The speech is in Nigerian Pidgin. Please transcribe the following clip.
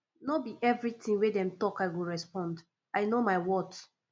no be everytin wey dem tok i go respond i know my worth